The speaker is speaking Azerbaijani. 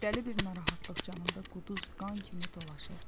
Dəli bir narahatlıq canımda quduz qan kimi dolaşır.